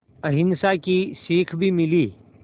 अहिंसा की सीख भी मिली